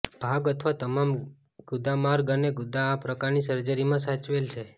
ભાગ અથવા તમામ ગુદામાર્ગ અને ગુદા આ પ્રકારની સર્જરીમાં સાચવેલ છે